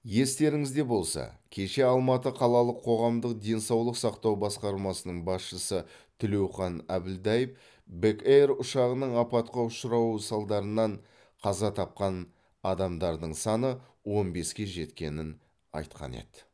естеріңізде болса кеше алматы қалалық қоғамдық денсаулық сақтау басқармасының басшысы тілеухан әбілдаев бек эйр ұшағының апатқа ұшырауы салдарынан қаза тапқан адамдардың саны он беске жеткенін айтқан еді